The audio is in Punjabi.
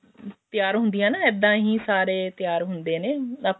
ਤਿਆਰ ਹੁੰਦੀਆਂ ਨਾ ਇੱਦਾਂ ਹ ਸਾਰੇ ਤਿਆਰ ਹੁੰਦੇ ਨੇ